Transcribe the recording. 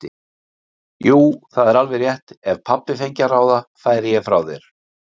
Jú, það er alveg rétt, ef pabbi fengi að ráða færi ég frá þér.